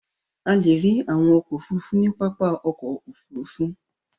A le rí àwọn ọkọ̀-òfurufú ní pápá ọkọ̀-òfurufú.